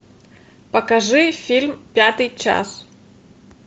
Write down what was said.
покажи фильм пятый час